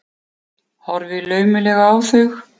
Horfi laumulega á þau.